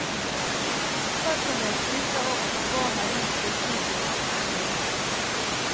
Selv kan jeg skryte av at han ga meg en av skissene sine som et minne.